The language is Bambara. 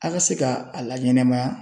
A ka se ka a laɲɛnɛmaya